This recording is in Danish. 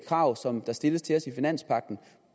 krav som der stilles til os i finanspagten